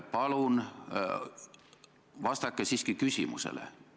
Palun vastake siiski küsimusele!